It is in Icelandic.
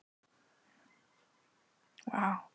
Hvað getum við Þróttarar lært af því?